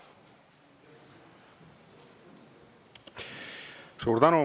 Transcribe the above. Suur tänu!